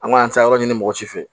An b'an taa yɔrɔ ɲini mɔgɔ si fɛ